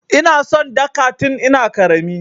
Ina son Dhaka tin ina ƙarami.